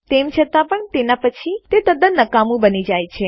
તેમ છતાં પણ તેના પછી તે તદ્દન નકામું બની જાય છે